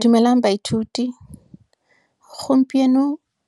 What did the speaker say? Dumelang baithuti, gompieno